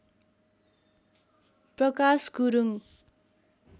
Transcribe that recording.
Prakash Gurung